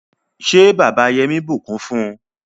ṣe bàbà Yemi bukún fún?